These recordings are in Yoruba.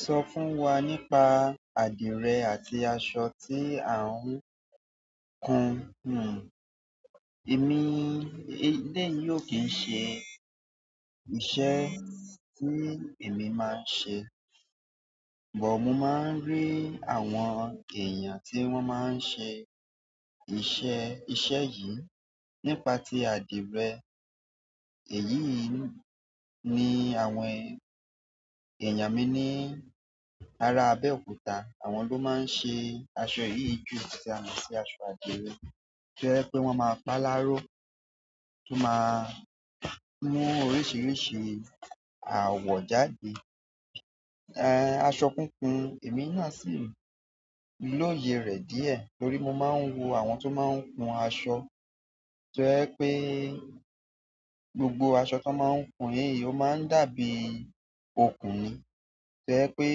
Sọ fún wa nípa adire àti aṣọ tí à ń kun hún. Èmi— eléyì o kì n ṣe iṣẹ́ tí èmi máa ń ṣe. But mo máa ń rí àwọn èèyàn tí wọ́n máa ń ṣe iṣẹ́— iṣẹ́ yìí nípa tí adirẹ. Èyí yìí ni àwọn èèyàn mi ní ara Abeokuta, àwọn ló máa ń ṣe aṣọ yìí jù tí a mo si aṣọ adire. Jẹ́ pé wọ́n máa pa láró, won máa mú oríṣiríṣi àwọ̀ jáde. Aṣọ kúnkun, èmi náà sì lòye rẹ̀ díẹ̀ torí mo máa ń wo àwọn tó máa ń hun aṣọ. Jẹ́ pé gbogbo aṣọ tó máa ń kun yìí ó máa dàbí okùn ni. Jẹ́ pé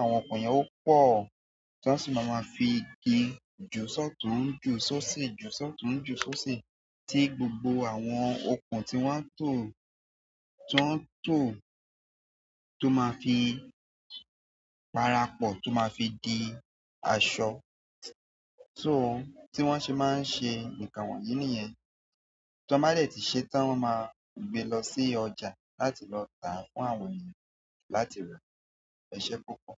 àwọn okùn yẹn ó pọ̀ tan sì máa ma fi igi ju sọ́ọ̀tún, jù ṣóoṣi, ju sọ́ọ̀tún, jù ṣóoṣi tí gbogbo àwọn okùn tí wọ́n tò, tí wọ́n tò tó máa fi parapọ̀ tó máa fi di aṣọ. So tí wọ́n ṣe máa ń ṣe àwọn kini yen, tan ba de ti se tan, wọ́n máa gbé lọ sí ọjà láti lọ tà fún àwọn èèyàn láti ra. Ẹṣẹ́ púpọ̀.